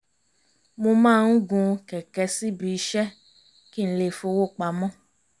mo máa ń gun kẹ̀kẹ́ síbi iṣẹ́ kí n lè fọ́wó pamọ́